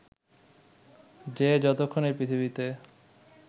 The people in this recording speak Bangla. যে যতক্ষণ এই পৃথিবীতে